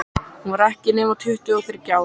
Hún var ekki nema tuttugu og þriggja ára.